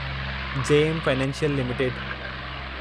JM financial limited